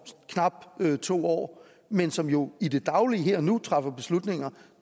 knap to år men som jo i det daglige her og nu træffer beslutninger